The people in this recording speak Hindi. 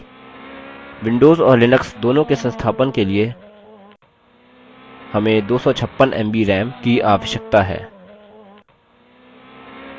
विंडोज और लिनक्स दोनों के संस्थापन के लिए हमें 256 mb ram recommended 512 mb की आवश्यकता है